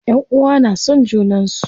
Ƴanʼuwa na son junan su.